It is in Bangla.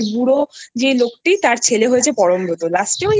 বুড়ো যে লোকটি তার ছেলে হয়েছে পরমব্রতও